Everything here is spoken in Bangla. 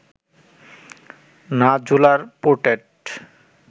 না জোলার পোর্ট্রেট